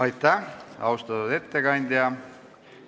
Aitäh, austatud ettekandja!